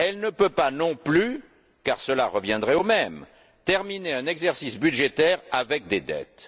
Elle ne peut pas non plus, car cela reviendrait au même, terminer un exercice budgétaire avec des dettes.